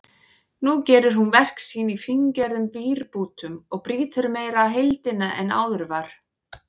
Nú gerir hún verk sín í fíngerðum vírbútum og brýtur meira heildina en áður var.